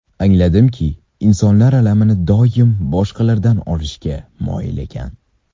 Angladimki, insonlar alamini doim boshqalardan olishga moyil ekan.